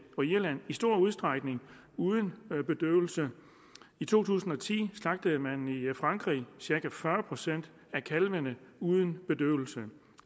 og irland i stor udstrækning uden bedøvelse i to tusind og ti slagtede man i frankrig cirka fyrre procent af kalvene uden bedøvelse